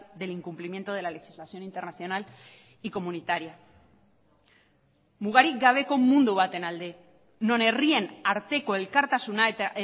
del incumplimiento de la legislación internacional y comunitaria mugarik gabeko mundu baten alde non herrien arteko elkartasuna eta